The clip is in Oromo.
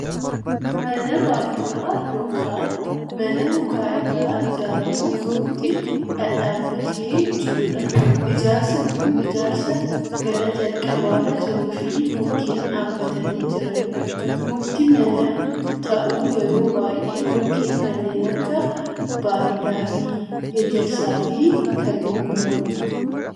mana baadiyyaa yookaan mana muka irraa ijaaramuuf mukti dhadhaabbatee jirudha. ijaarsi kun ijaarsa gara jalqabaarra jiruufi mukeen dhaabbatanii jiranidha. mukti mana ta'uu yeroo baayyee mukeen kanneen akka baardaafii, ejersaa fi kanneen biroodha.